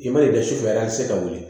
I ma ye dɛ sufɛ a te se ka wuli